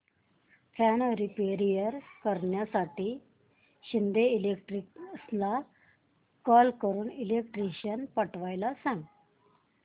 fan repair करण्यासाठी शिंदे इलेक्ट्रॉनिक्सला call करून इलेक्ट्रिशियन पाठवायला सांग